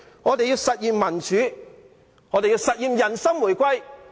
我們要實現民主，實現人心回歸。